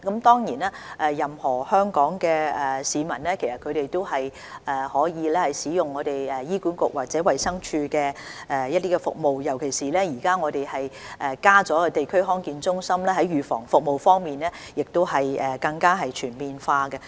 當然，任何香港市民都可以使用醫院管理局或衞生署的服務，尤其是現在加設了地區康健中心，預防服務已更為全面。